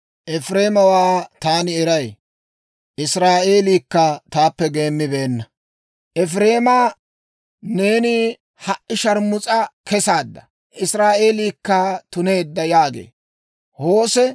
Efireemawaa taani eray; Israa'eelikka taappe geemmibeenna. Efireemaa, neeni ha"i sharmus'a kesaadda; Israa'eelikka tuneedda» yaagee.